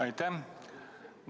Aitäh!